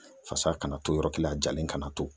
Fasa kana to yɔrɔ kelen a jalen kana to.